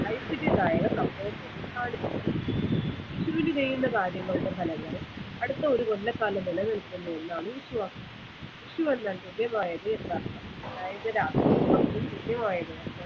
ഐശ്വര്യമായ സംഭവത്തെ ആണ് കാണിക്കുന്നത് വിഷുവിന് ചെയ്യുന്ന കാര്യങ്ങളുടെ ഫലങ്ങൾ അടുത്ത ഒരു കൊല്ലക്കാലം നിലനിൽക്കുന്നു എന്നാണ് വിശ്വാസം വിഷു എന്നാൽ ഹൃദയം ആയത് എന്നർത്ഥം അതായത് രാത്രിയും പകലും തുല്യമായി